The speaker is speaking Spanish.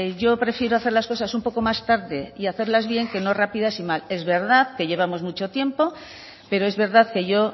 yo prefiero hacer las cosas un poco más tarde y a hacerlas bien que no rápidas y mal es verdad que llevamos mucho tiempo pero es verdad que yo